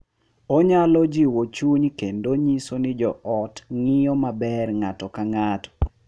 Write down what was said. Onyalo jiwo chuny kendo nyiso ni jo ot ng’iyo maber ng’ato ka ng’ato.